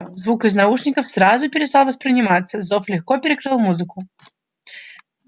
звук из наушников сразу перестал восприниматься зов легко перекрыл музыку